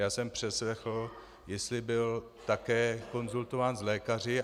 Já jsem přeslechl, jestli byl také konzultován s lékaři.